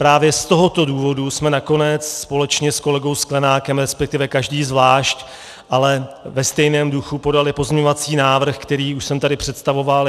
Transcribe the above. Právě z tohoto důvodu jsme nakonec společně s kolegou Sklenákem, respektive každý zvlášť, ale ve stejném duchu, podali pozměňovací návrh, který už jsem tady představoval.